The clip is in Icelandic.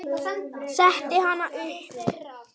Setti hana upp.